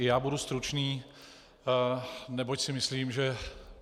I já budu stručný, neboť si myslím, že